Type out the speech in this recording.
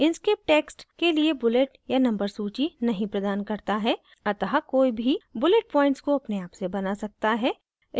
inkscape text के लिए bullet या number सूची नहीं प्रदान करता है अतः कोई भी bullet points अपने आप से बना सकता है